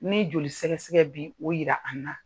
Ni joli sɛgɛ sɛgɛ bi o yira an na.